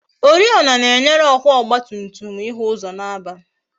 Oriọna na-enyere ọkwa ọgba tum tum ịhụ ụzọ n'abalị